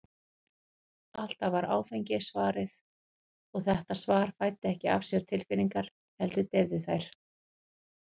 Alltaf var áfengi svarið, og þetta svar fæddi ekki af sér tilfinningar, heldur deyfði þær.